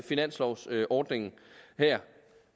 finanslovordningen her